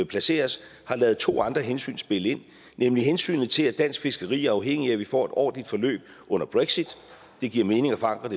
placeres har ladet to andre hensyn spille ind nemlig hensynet til at dansk fiskeri er afhængigt af at vi får et ordentligt forløb under brexit det giver mening at forankre